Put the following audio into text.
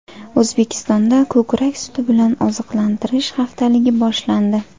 O‘zbekistonda ko‘krak suti bilan oziqlantirish haftaligi boshlandi.